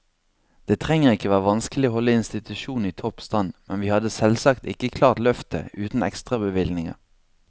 Det trenger ikke å være vanskelig å holde institusjonen i topp stand, men vi hadde selvsagt ikke klart løftet uten ekstrabevilgninger.